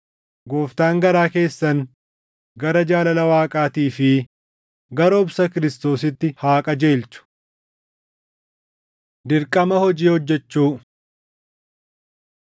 Gooftaan garaa keessan gara jaalala Waaqaatii fi gara obsa Kiristoositti haa qajeelchu. Dirqama Hojii Hojjechuu